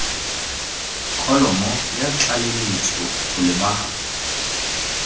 kholomo ya tlaleletso go lebagana